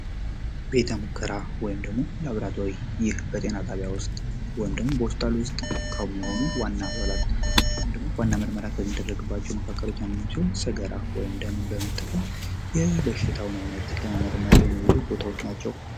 ቤተ ሙከራ ወይም ደግሞ ላብራቶሪ ይህ በጤና ጣቢያ ውስጥ ወይም ደግሞ በሆስፒታል ውስጥ ከሚሆኑ ዋና አባላት ወይም ደግሞ ዋና ምርመራ ከሚደረግባቸው መካከሎች አንደኛው ሲሆን ሰገራ ወይም ደምን በመጠቀም የበሽታውን ዓይነት ለመመርመር የሚውሉ ቦታዎች ናቸው።